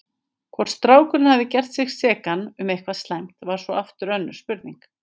Hvort strákurinn hafði gert sig sekan um eitthvað slæmt var svo aftur önnur spurning.